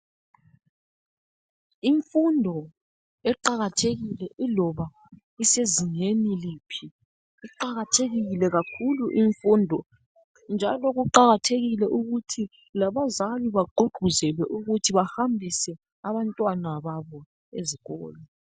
Imfundo iqakathekile iloba isezingeni liphi. Iqakathekile kakhulu imfundo. Njalo kuqakathekile ukuthi labazali bagqugquzelwe ukuthi bahambise abantwana babo ezikolo.